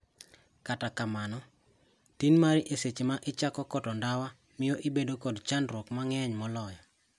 Kata kamano, tin mari e seche ma ichako koto ndawa mio ibedo kod chandruok mang'eny moloyo.